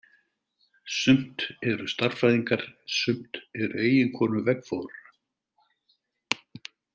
Sumt eru stærðfræðingar, sumt er eiginkonur veggfóðrara.